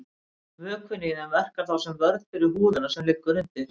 Vökvinn í þeim verkar þá sem vörn fyrir húðina sem liggur undir.